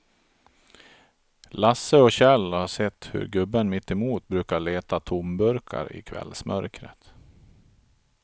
Lasse och Kjell har sett hur gubben mittemot brukar leta tomburkar i kvällsmörkret.